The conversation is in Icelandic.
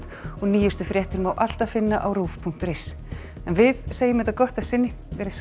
og nýjustu fréttir má alltaf finna á rúv punktur is en við segjum þetta gott að sinni veriði sæl